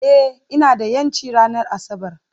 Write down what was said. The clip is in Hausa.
Ee, ina da 'yanci ranar Asabar